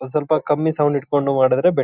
ಒಂದ್ ಸೊಲ್ಪ ಕಮ್ಮಿ ಸೌಂಡ್ ಇಟ್ಕೊಂಡು ಮಾಡಿದ್ರೆ ಬೆ --